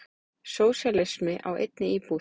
Sósíalismi í einni íbúð.